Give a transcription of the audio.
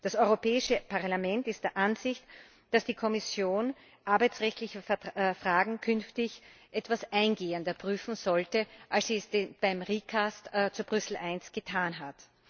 Das Europäische Parlament ist der Ansicht, dass die Kommission arbeitsrechtliche Fragen künftig etwas eingehender prüfen sollte, als sie es beim recast zu Brüssel I getan hat.